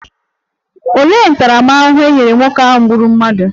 Olee ntaramahụhụ e nyere nwoke ahụ gburu mmadụ?